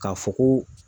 K'a fɔ ko